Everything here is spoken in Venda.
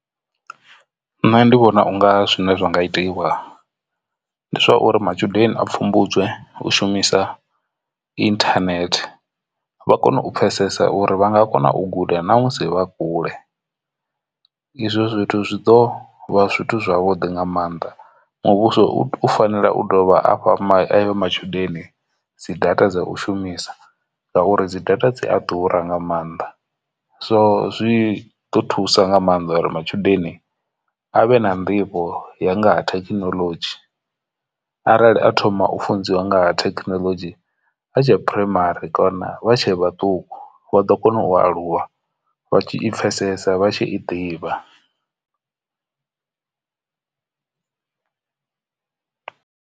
Nṋe ndi vhona unga zwine zwa nga itiwa ndi zwa uri matshudeni a pfhumbudze u shumisa internet vha kone u pfesesa uri vha nga kona u guda na musi vha kule ende izwo zwithu zwi ḓo vha zwithu zwavhuḓi nga maanḓa muvhuso u fanela u dovha afha ayo matshudeni dzi data dza u shumisa ngauri dzi data dzi a ḓura nga maanḓa, so zwi ḓo thusa nga maanḓa uri matshudeni avhe na nḓivho ya nga ha thekinoḽodzhi arali a thoma u funziwa ngaha thekinoḽodzhi a tshe phuraimari kana vha tshe vhaṱuku vha ḓo kona u aluwa vha tshi i pfhesesa vha tshi i ḓivha.